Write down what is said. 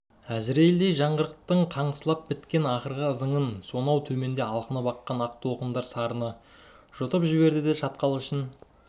әзірейілдей жаңғырықтың қаңсылап біткен ақырғы ызыңын соноу төменде алқынып аққан ақ толқындар сарыны жұтып жіберді де шатқал ішін